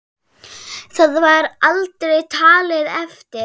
Það var aldrei talið eftir.